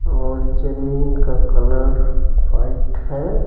और जमीन का कलर वाइट है।